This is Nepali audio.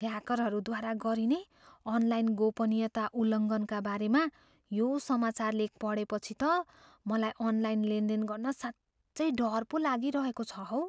ह्याकरहरूद्वारा गरिने अनलाइन गोपनीयता उल्लङ्घनका बारेमा यो समाचार लेख पढेपछि त मलाई अनलाइन लेनदेन गर्न साँच्चै डर पो लागिरहेको छ हौ।